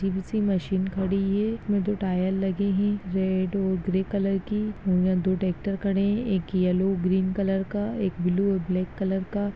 जे B C machine खड़ी है उनमे दो टायर लगे हैं रेड और ग्रे कलर की वहाँ दो ट्रेक्टर खड़े हैं एक येलो ग्रीन कलर का एक ब्लू और ब्लैक का।